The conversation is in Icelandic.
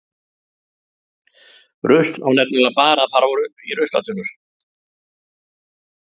Rusl á nefnilega bara að fara í ruslatunnur.